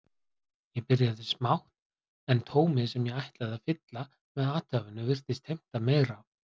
Ég byrjaði smátt en tómið sem ég ætlaði að fylla með athæfinu virtist heimta meira.